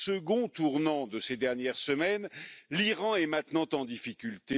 Second tournant de ces dernières semaines, l'Iran est maintenant en difficulté.